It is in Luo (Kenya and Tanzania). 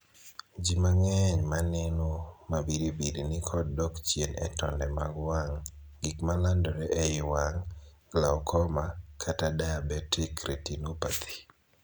Jii mang'eny ma neno mabiribiri ni kod dok chien e tonde mag wang', gik malandore ei wang', 'glaucoma', kata 'diabetic retinopathy'.